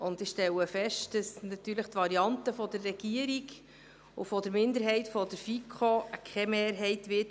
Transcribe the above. Ich stelle fest, dass die Variante der Regierung und der Minderheit der FiKo natürlich keine Mehrheit finden wird.